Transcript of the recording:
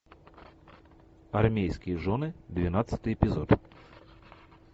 армейские жены двенадцатый эпизод